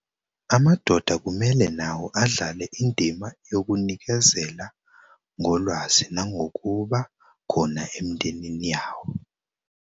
Amadoda kumele nawo adlale indima yokunikezela ngolwazi nangokuba khona emindenini yawo.